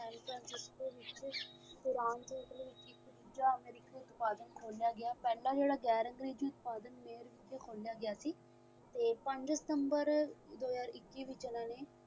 Iran ਤੇ Italy ਦੇ ਵਿਚ ਇਕ ਦੂਜਾ ਅਮਰੀਕੀ ਉਤਪਾਦਨ ਖੋਹਲਿਆ ਗਿਆ ਪਹਿਲਾਂ ਜਿਹੜਾ ਜੋੜਾ ਗੈਰ-ਅੰਗਰੇਜ਼ੀ ਉਤਪਾਦਨ mayer ਵਿਚ ਖੋਲਿਆਂ ਗਿਆ ਸੀ ਤੇ ਪੰਜ september ਦੋ ਹਜ਼ਾਰ ਇੱਕੀ ਦੇ ਵਿਚ ਇਨਾਂ ਨੇ